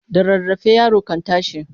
Da rarrafe yaro kan tashi.